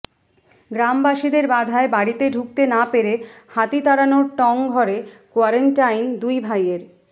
গ্রামবাসীদের বাধায় বাড়িতে ঢুকতে না পেরে হাতি তাড়ানোর টঙ ঘরে কোয়ারেন্টাইন দুই ভাইয়ের